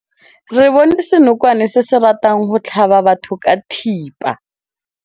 Re bone senokwane se se ratang go tlhaba batho ka thipa.